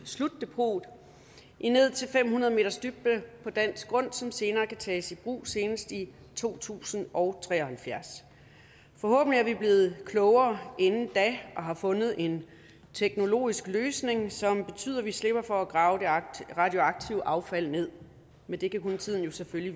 slutdepot i ned til fem hundrede meters dybde på dansk grund som senere kan tages i brug senest i to tusind og tre og halvfjerds forhåbentlig er vi blevet klogere inden da og har fundet en teknologisk løsning som betyder at vi slipper for at grave det radioaktive affald ned men det kan jo kun tiden vise vi